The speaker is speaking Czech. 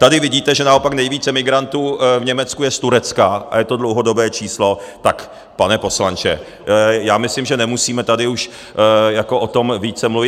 Tady vidíte, že naopak nejvíce migrantů v Německu je z Turecka, a je to dlouhodobé číslo, tak pane poslanče, já myslím, že nemusíme tady už o tom více mluvit.